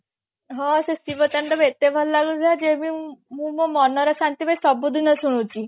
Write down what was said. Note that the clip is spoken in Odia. ହଁ ସେ ଶିବ ତାଣ୍ଡବ ଏତେ ଭଲ ଲାଗୁଥିଲା ଯେ ମ ମୁଁ ମୋ ମନ ର ଶାନ୍ତି ପାଇଁ ସବୁଦିନ ଶୁଣୁଛି